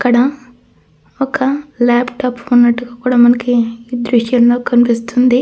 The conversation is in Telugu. క్కడ ఒక లాప్టాప్ ఉన్నట్టుగా కూడ మనకి దృశ్యంలో కనిపిస్తుంది.